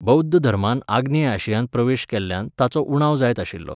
बौध्द धर्मान आग्नेय आशियांत प्रवेश केल्ल्यान ताचो उणाव जायत आशिल्लो.